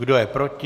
Kdo je proti?